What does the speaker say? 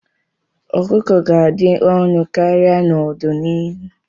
Ọkụkọ ga-adị ọnụ karịa n'ọdịnihu.